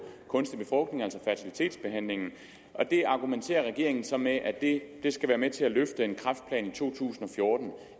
kunstig befrugtning altså fertilitetsbehandling her argumenterer regeringen så med at det skal være med til at løfte en kræftplan i to tusind og fjorten